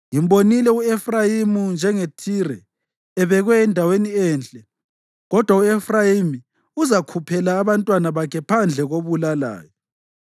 Ngimbonile u-Efrayimi, njengeThire, ebekwe endaweni enhle. Kodwa u-Efrayimi uzakhuphela abantwana bakhe phandle kobulalayo.”